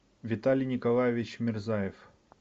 виталий николаевич мирзаев